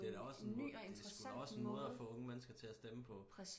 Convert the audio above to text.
det er da også en måde det er sku da også en måde at få unge til at stemme på